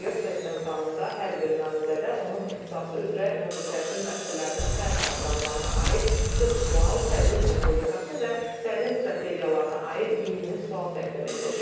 Test imtahanında hər bir namizədə onun ixtisası üzrə ümumi təhsil müəssisələrinin fənn proqramlarına aid 40 sual, tədris metodikası və təlim strategiyalarına aid 20 sual təqdim ediləcək.